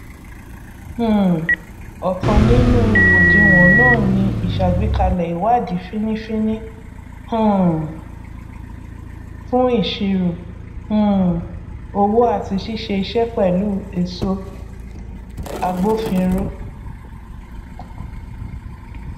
um ọkan nínú òdiwọn náà ni ìsàgbékalẹ ìwádìí fínífíní um fún ìṣirò um owó àti ṣíṣe iṣẹ pẹlú èso agbòfinró